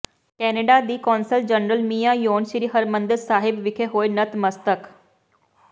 Canada ਦੀ consul general Mia Yen Sri Harmandir Sahib ਵਿਖੇ ਹੋਏ ਨਤਮਸਤਕ